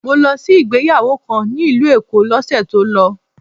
Mo lọ sí ìgbéyàwó kan ní ìlú Èkó l'ósè tó lọ